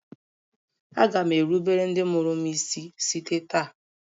Aga m erubere ndị mụrụ m isi site taa